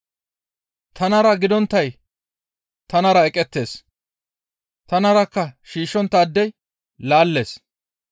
«Tanara gidonttay tanara eqettees; tanarakka shiishshonttaadey laallees,